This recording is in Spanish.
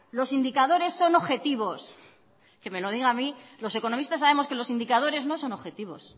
los indicadores son objetivos que me lo digan a mí los economistas sabemos que los indicadores no son objetivos